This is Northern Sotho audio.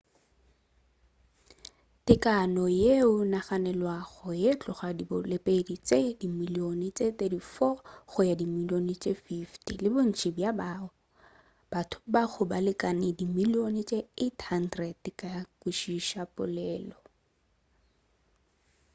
tekano yeo e naganelwago go tloga go diboledi tše dimilione tše 340 go ya go dimilione tše 500 le bontši bja batho ba go ka lekana dimilione tše 800 ba ka kwešiša polelo